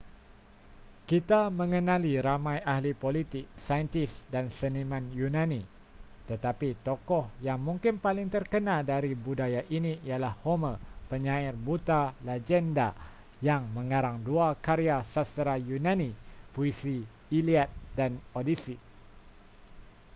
kita mengenali ramai ahli politik saintis dan seniman yunani tetapi tokoh yang mungkin paling terkenal dari budaya ini ialah homer penyair buta legenda yang mengarang dua karya sastera yunani puisi iliad dan odyssey